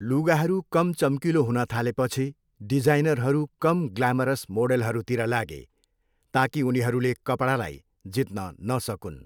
लुगाहरू कम चम्किलो हुन थालेपछि, डिजाइनरहरू कम ग्लामरस मोडेलहरूतिर लागे, ताकि उनीहरूले कपडालाई जित्न नसकून्।